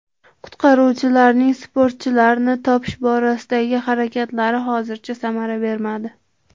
Qutqaruvchilarning sportchilarni topish borasidagi harakatlari hozircha samara bermadi.